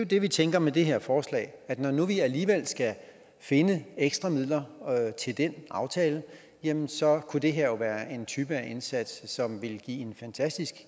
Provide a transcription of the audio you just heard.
det vi tænker med det her forslag at når nu vi alligevel skal finde ekstra midler til den aftale jamen så kunne det her jo være en type indsats som ville give en fantastisk